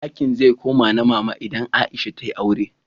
Dakin zai koma na Mama idan Aisha ta yi aure.